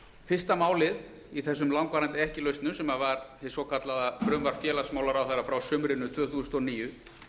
fyrsta málið í þessum langvarandi ekki lausnum sem var hið svokallaða frumvarp félagsmálaráðherra frá sumrinu tvö þúsund og níu